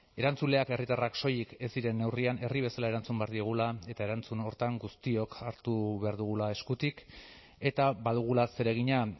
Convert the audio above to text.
erantzuleak herritarrak soilik ez diren neurrian herri bezala erantzun behar diogula eta erantzun horretan guztiok hartu behar dugula eskutik eta badugula zeregina